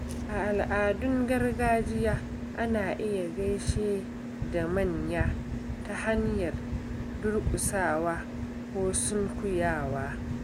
A al’adun gargajiya, ana iya gaishe da manya ta hanyar durƙusawa ko sunkuyawa.